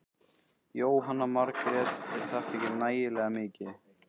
Jóhanna Margrét: Er þetta ekki nægilega mikið?